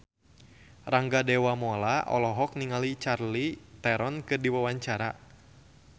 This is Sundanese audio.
Rangga Dewamoela olohok ningali Charlize Theron keur diwawancara